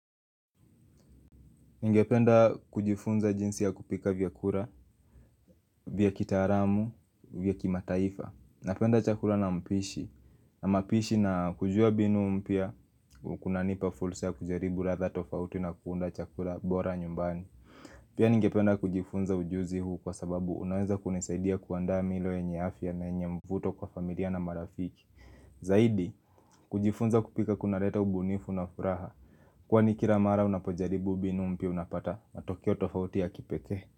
Ningependa kujifunza jinsi ya kupika vyakura, vyakitaaramu, vyakimataifa Napenda chakura na mpishi na mapishi na kujua binu mpya kuna nipa fulsa ya kujaribu ratha tofauti na kuunda chakura bora nyumbani Pia ningependa kujifunza ujuzi huu kwa sababu unaweza kunisaidia kuandaa milo yenye afya na yenye mvuto kwa familia na marafiki Zaidi, kujifunza kupika kuna leta ubunifu na furaha Kwani kira mara unapojaribu binu mpya unapata matokeo tofauti ya kipekee.